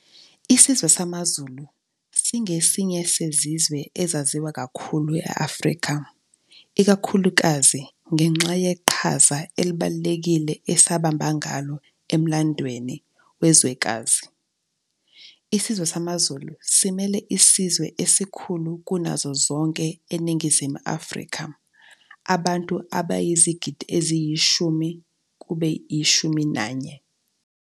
Isizwe samaZulu singesinye sezizwe ezaziwa kakhulu e-Afrika, ikakhulukazi ngenxa yeqhaza elibalulekile esabamba ngalo emlandweni wezwekazi. Isizwe samaZulu simele isizwe esikhulu kunazo zonke eNingizimu Afrika, abantu abayizigidi eziyi-10-11.